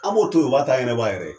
An b'o to yen o b'a ta ɲɛnabɔ a yɛrɛ ye.